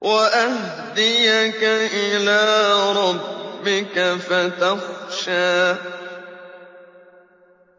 وَأَهْدِيَكَ إِلَىٰ رَبِّكَ فَتَخْشَىٰ